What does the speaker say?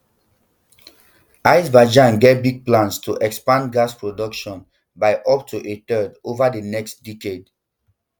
azerbaijan get big plans to expand gas production by up to a third over di next decade